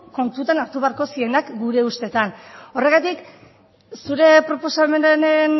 kontutan hartu beharko zirenak gure ustetan horregatik zure proposamenaren